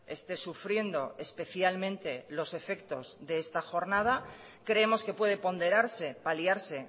esté sufriendo especialmente los efectos de esta jornada creemos que puede ponderarse paliarse